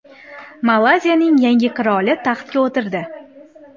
Malayziyaning yangi qiroli taxtga o‘tirdi.